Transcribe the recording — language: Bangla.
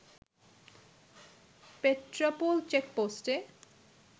পেট্রাপোল চেকপোস্টে